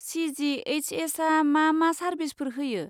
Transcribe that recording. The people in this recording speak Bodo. सि.जि.एइस.एस.आ मा मा सारबिसफोर होयो?